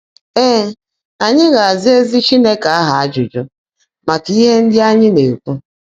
Ée, ányị́ gá-ázá ézí Chínekè áhụ́ ájụ́jụ́ màká íhe ndị́ ányị́ ná-èkwú.